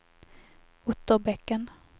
Otterbäcken